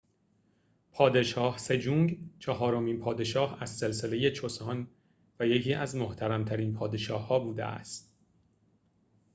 پادشاه سجونگ چهارمین پادشاه از سلسله چوسان و یکی از محترم‌ترین پادشاه‌ها بوده است